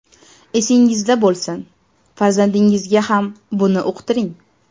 Esingizda bo‘lsin, farzandingizga ham buni uqtiring.